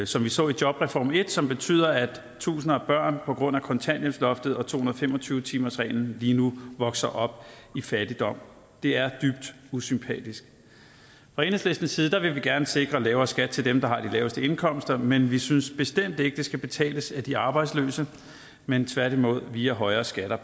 som vi så i jobreform en som betyder at tusinder af børn på grund af kontanthjælpsloftet og to hundrede og fem og tyve timersreglen lige nu vokser op i fattigdom det er dybt usympatisk fra enhedslistens side vil vi gerne sikre lavere skat til dem der har de laveste indkomster men vi synes bestemt ikke at det skal betales af de arbejdsløse men tværtimod via højere skatter